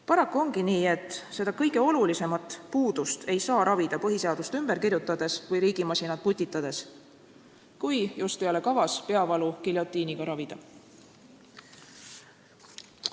Paraku ongi nii, et seda kõige olulisemat puudust ei saa ravida põhiseadust ümber kirjutades või riigimasinat putitades, kui just ei ole kavas peavalu giljotiiniga ravida.